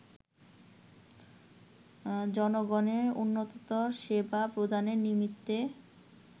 জনগণের উন্নততর সেবা প্রদানের নিমিত্তে